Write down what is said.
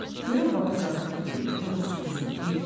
Görən baba zarafat eləyirdi, yoxsa düzünü deyirdi?